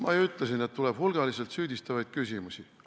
Ma ju ütlesin, et tuleb hulgaliselt süüdistavaid küsimusi.